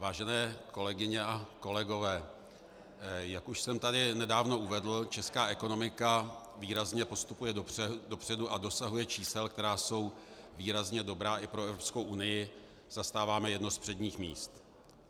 Vážené kolegyně a kolegové, jak už jsem tady nedávno uvedl, česká ekonomika výrazně postupuje dopředu a dosahuje čísel, která jsou výrazně dobrá i pro Evropskou unii, zastáváme jedno z předních míst.